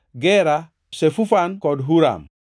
Gera, Shefufan kod Huram.